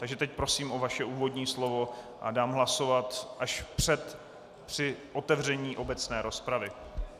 Takže teď prosím o vaše úvodní slovo a dám hlasovat až před, při otevření obecné rozpravy.